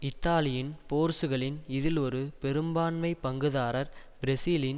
இத்தாலியின் போர்சுகலின் இதில் ஒரு பெரும்பான்மை பங்குதாரர் பிரேசிலின்